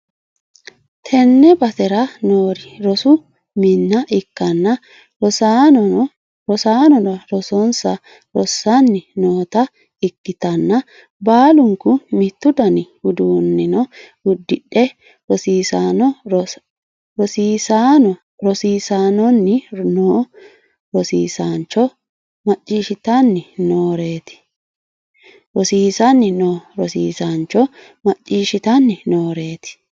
tenne basera noori rosu mine ikkanna, rosaanono rosonsa rossanni noota ikkitanna baalunku mittu dani uddano uddidhe rosiisanni noo rosiisaancho macciishshitanni nooreeti.